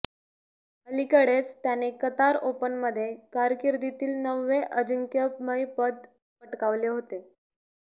अलीकडेच त्याने कतार ओपनमध्ये कारकिर्दीतील नववे अजिंक्मयपद पटकावले होते